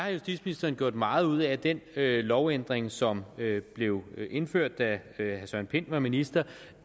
at justitsministeren gjorde meget ud af at den lovændring som blev indført da herre søren pind var minister